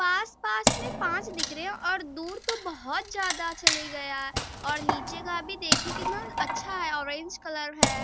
पास पास मे पाँच दिख रहे हैं और दूर तो बहुत ज्यादा चले गया और नीचे का भी देखिये कितना अच्छा है ऑरेंज कलर है |